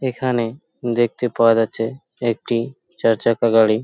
এখানে দেখতে পাওয়া যাচ্ছে একটি চার চাকা গাড়ি।